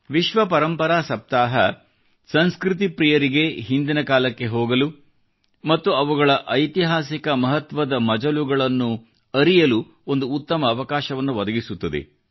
ವಿಶ್ವ ಪರಂಪರಾ ಸಪ್ತಾಹ ಸಂಸ್ಕೃತಿ ಪ್ರೀಯರಿಗೆ ಹಿಂದಿನ ಕಾಲಕ್ಕೆ ಹೋಗಲು ಮತ್ತು ಅವುಗಳ ಐತಿಹಾಸಿಕ ಮಹತ್ವದ ಮಜಲುಗಳನ್ನು ಅರಿಯಲು ಒಂದು ಉತ್ತಮ ಅವಕಾಶವನ್ನು ಒದಗಿಸುತ್ತದೆ